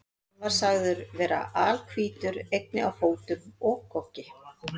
Hann var sagður vera alhvítur, einnig á fótum og goggi.